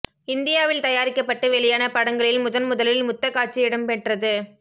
இந்தியாவில் தயாரிக்கப்பட்டு வெளியான படங்களில் முதன் முதலில் முத்தக் காட்சி இடம் பெற்றது